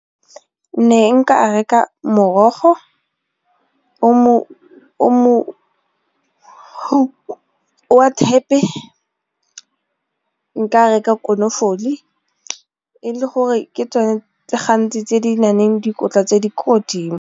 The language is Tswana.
Ne nka reka morogo wa thepe, nka reka konofole e le gore ke tsone tse gantsi tse di na leng dikotla tse di ko godimo.